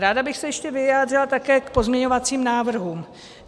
Ráda bych se ještě vyjádřila také k pozměňovacím návrhům.